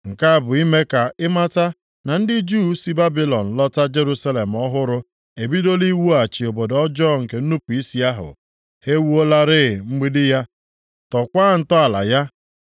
Nke a bụ ime ka ị mata na ndị Juu si Babilọn lọta Jerusalem ọhụrụ a ebidola iwughachi obodo ọjọọ nke nnupu isi ahụ. Ha ewuolarị mgbidi ya, tọkwaa ntọala ya.